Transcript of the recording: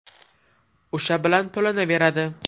O‘sha bilan to‘lanaveradi.